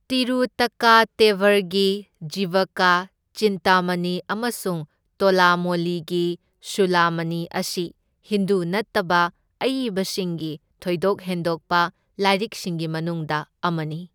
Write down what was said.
ꯇꯤꯔꯨꯇꯛꯀꯇꯦꯚꯔꯒꯤ ꯖꯤꯚꯀ ꯆꯤꯟꯇꯃꯅꯤ ꯑꯃꯁꯨꯡ ꯇꯣꯂꯃꯣꯂꯤꯒꯤ ꯁꯨꯂꯃꯅꯤ ꯑꯁꯤ ꯍꯤꯟꯗꯨ ꯅꯠꯇꯕ ꯑꯏꯕꯁꯤꯡꯒꯤ ꯊꯣꯏꯗꯣꯛ ꯍꯦꯟꯗꯣꯛꯄ ꯂꯥꯏꯔꯤꯛꯁꯤꯡꯒꯤ ꯃꯅꯨꯡꯗ ꯑꯃꯅꯤ꯫